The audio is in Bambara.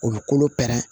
U bɛ kolo pɛrɛn